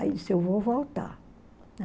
Aí disse, eu vou voltar.